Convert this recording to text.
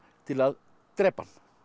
til að drepa hann